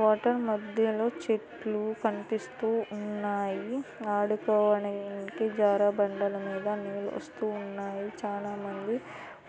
water మధ్యలో చెట్లు కనిపిస్తూ ఉన్నాయి ఆడుకోవడానికి జారుబండలో నీళ్లు వస్తు ఉన్నాయి చానా మంది